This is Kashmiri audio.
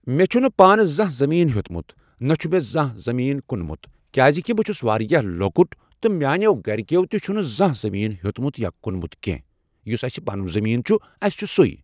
مےٚ چھنہٕ پانہٕ زانٛہہ زٔمیٖن ہیوٚتمت نہ چھُ مےٚ زانٛہہ زٔمیٖن کُنمت کیازِ کہِ بہٕ چھَس واریاہ لۄکٕٹ تہٕ میاٛنٮ۪و گرِکٮ۪و تہِ چھُنہٕ زانٛہہ زٔمیٖن ہیوٚتمت یا کنمت کٮ۪نٛہہ یُس اسہ پنُن زٔمیٖن چھُ اَسہِ چھُ سُے